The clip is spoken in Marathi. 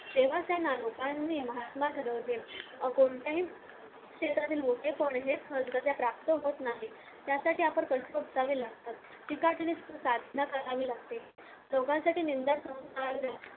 तेव्हा त्यांना लोकांनी महात्मा ठरवले कोणत्याही क्षेत्रातील त्यासाठी आपण असावे लागतात